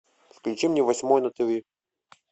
включи мне восьмой на тиви